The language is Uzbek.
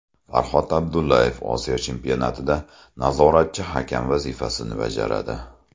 Farhod Abdullayev Osiyo Chempionatida nazoratchi hakam vazifasini bajaradi.